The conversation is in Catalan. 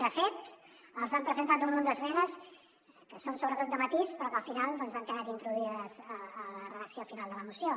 de fet els han presentat un munt d’esmenes que són sobretot de matís però que al final han quedat introduïdes a la redacció final de la moció